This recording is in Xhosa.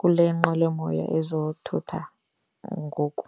kule nqwelomoya ezothutha ngoku.